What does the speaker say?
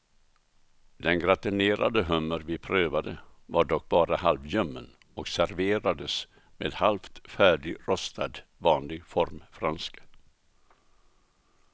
Den gratinerade hummer vi prövade var dock bara halvljummen och serverades med halvt färdigrostad vanlig formfranska.